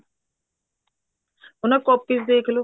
ਉਹਨਾ ਦੀ copies ਦੇਖਲੋ